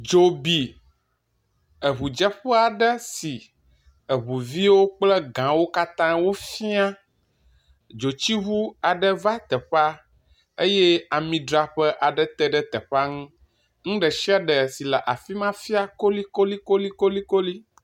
Dzo bi eŋu dzeƒe aɖe si eŋuviwo kple gawo katã wofia, dzotsiŋu aɖe va teƒea eye ami dzraƒe aɖe teɖe teƒea ŋu, nu ɖe sia ɖe si le afi ma fia kolikolikolikoli